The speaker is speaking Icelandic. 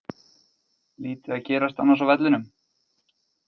Lítið að gerast annars á vellinum.